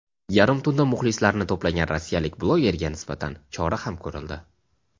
yarim tunda muxlislarini to‘plagan rossiyalik blogerga nisbatan chora ham ko‘rildi.